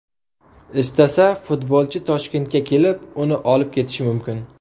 Istasa, futbolchi Toshkentga kelib, uni olib ketishi mumkin.